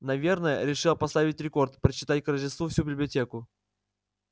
наверное решила поставить рекорд прочитать к рождеству всю библиотеку